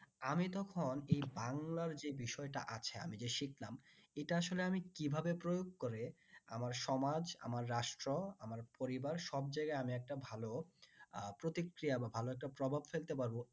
আমি তখন এই বাংলার যে বিষয়টা আছে আমি যে শিখলাম এটা আসলে আমি কিভাবে প্রয়োগ করে আমার সমাজ আমার রাষ্ট্র আমার পরিবার সব জায়গায় আমি একটা ভালো আহ প্রতিক্রিয়া বা ভালো একটা প্রভাব ফেলতে পারবো